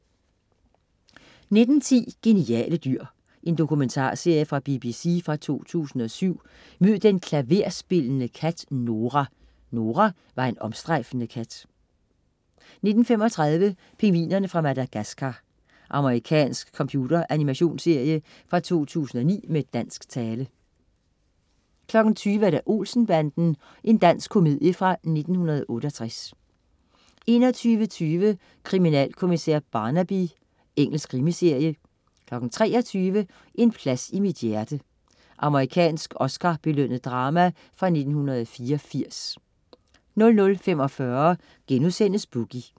19.10 Geniale dyr. Dokumentarserie fra BBC fra 2007. Mød den klaverspillende kat, Nora! Nora var en omstrejfende kat 19.35 Pingvinerne fra Madagascar. Amerikansk computeranimations-serie fra 2009 med dansk tale 20.00 Olsen-banden. Dansk komedie fra 1968 21.20 Kriminalkommissær Barnaby. Engelsk krimiserie 23.00 En plads i mit hjerte. Amerikansk Oscar-belønnet drama fra 1984 00.45 Boogie*